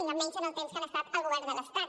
i més amb el temps que han estat al govern de l’estat